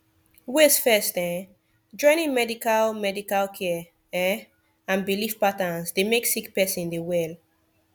wait first um joining medical medical care um and bilif patterns dey mek sik peron dey well